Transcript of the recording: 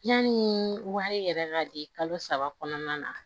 Yanni wari yɛrɛ ka di kalo saba kɔnɔna na